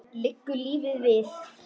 Liggur lífið við?